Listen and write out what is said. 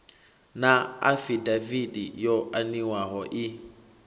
na afidaviti yo aniwaho i